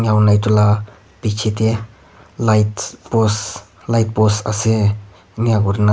aru etu lah picche teh light post light post ase enaka kuri na--